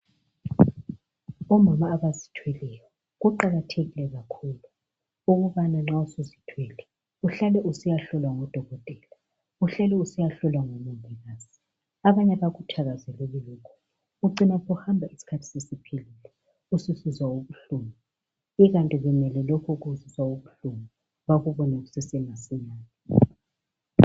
Omama abazithweleyo kuqakathekile kakhulu ukubana nxa suzithwele uhlale usiyahlolwa ngudokotela, uhlale usiya hlola ngumongikazi. Abanye abakuthakazeleli lokhu, ucina uhamba isikhathi sesiphelile usisizwa ubuhlungu ikanti kumele lokhu okuzwisa ubuhlungu bakubone masinyane.